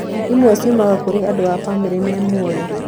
Imwe ciumaga kũrĩ andũ a bamĩrĩ me mũoyo.